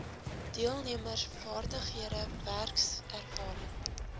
deelnemers vaardighede werkservaring